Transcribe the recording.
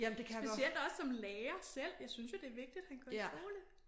Specielt også som lærer selv jeg synes jo det vigtigt han går i skole